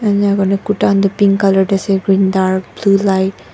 enika kurina kurta khan toh pink colour tae asa green dark blue light .